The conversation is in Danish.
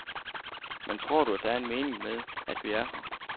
Men tror du, at der er en mening med, at vi er her?